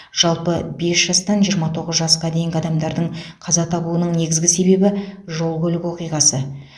жалпы бес жастан жиырма тоғыз жасқа дейінгі адамдардың қаза табуының негізгі себебі жол көлік оқиғасы